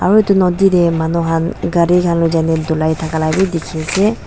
aru etu noti ti manu kan kari kan lui chai kina tolai taka bi teki ase.